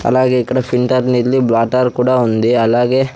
అలాగే ఇక్కడ ఫిల్టర్ నీళ్ళు బ్లాటర్ కూడా ఉంది అలాగే--